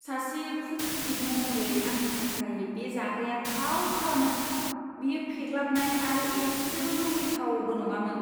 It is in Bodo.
सासे फुड क्रिटिक महरै आंनि थाखाय, बे जाग्राया थावथारामोन! बेयो फेग्लाबनाय आरो इसेबो लुबैथावबो नङामोन!